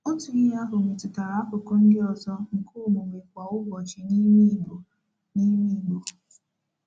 Otu ihe ahụ metụtara akụkụ ndị ọzọ nke omume kwa ụbọchị n’ime Igbo. n’ime Igbo.